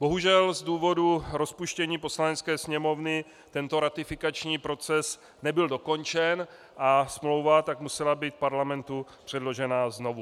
Bohužel z důvodu rozpuštění Poslanecké sněmovny tento ratifikační proces nebyl dokončen a smlouva tak musela být Parlamentu předložena znovu.